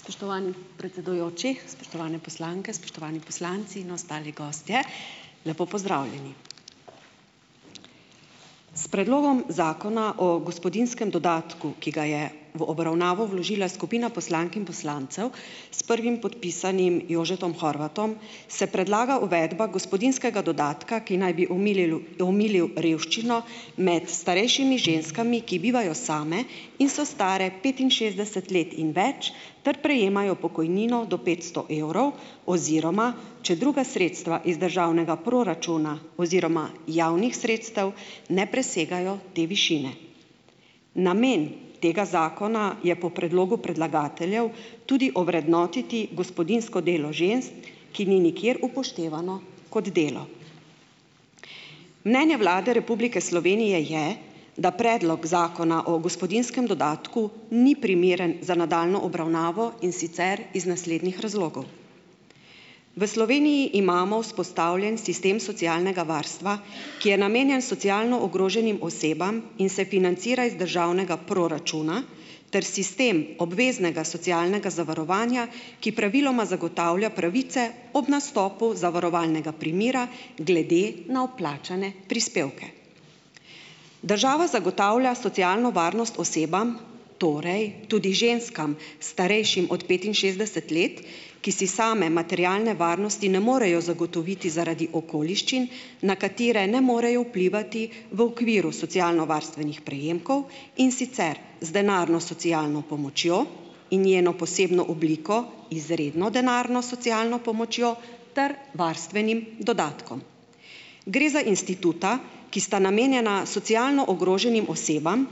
Spoštovani predsedujoči, spoštovane poslanke, spoštovani poslanci in ostali gostje. Lepo pozdravljeni. S Predlogom zakona o gospodinjskem dodatku, ki ga je v obravnavo vložila skupina poslank in poslancev s prvim podpisanim Jožetom Horvatom, se predlaga uvedba gospodinjskega dodatka, ki naj bi omililu, omilil revščino med starejšimi ženskami, ki bivajo same in so stare petinšestdeset let in več ter prejemajo pokojnino do petsto evrov, oziroma če druga sredstva iz državnega proračuna oziroma javnih sredstev ne presegajo te višine. Namen tega zakona je po predlogu predlagateljev tudi ovrednotiti gospodinjsko delo žensk, ki ni nikjer upoštevano kot delo. Mnenje Vlade Republike Slovenije je, da Predlok zakona o gospodinjskem dodatku ni primeren za nadaljnjo obravnavo, in sicer iz naslednjih razlogov. V Sloveniji imamo vzpostavljen sistem socialnega varstva, ki je namenjen socialno ogroženim osebam in se financira iz državnega proračuna, ter sistem obveznega socialnega zavarovanja, ki praviloma zagotavlja pravice ob nastopu zavarovalnega primera glede na vplačane prispevke. Država zagotavlja socialno varnost osebam, torej tudi ženskam, starejšim od petinšestdeset let, ki si same materialne varnosti ne morejo zagotoviti zaradi okoliščin, na katere ne morejo vplivati v okviru socialnovarstvenih prejemkov, in sicer z denarno socialno pomočjo in njeno posebno obliko, izredno denarno socialno pomočjo, ter varstvenim dodatkom. Gre za instituta, ki sta namenjena socialno ogroženim osebam,